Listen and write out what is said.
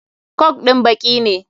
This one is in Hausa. Coke din baki ne.